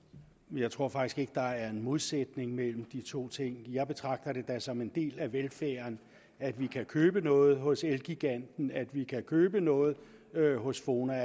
jeg tror faktisk ikke der er en modsætning mellem de to ting jeg betragter det da som en del af velfærden at vi kan købe noget hos elgiganten at vi kan købe noget hos fona